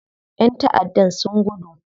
ƴan taʼaddan sun gudu.